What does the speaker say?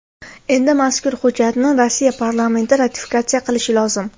Endi mazkur hujjatni Rossiya parlamenti ratifikatsiya qilishi lozim.